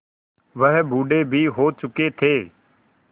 वह बूढ़े भी हो चुके थे